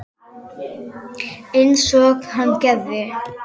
Einsog hann gerði.